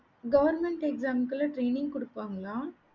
government exam லாம் training குடுப்பாங்களா